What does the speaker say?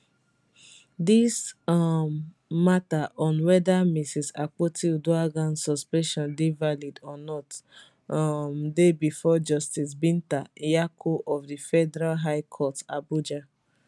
dis um mata on weda mrs akpotiuduaghan suspension dey valid or not um dey bifor justice binta nyako of di federal high court abuja